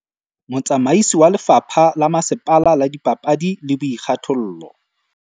Motsamaisi wa lefapha la masepala la dipapadi le boikgathollo